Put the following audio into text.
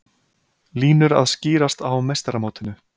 Línur að skýrast á meistaramótinu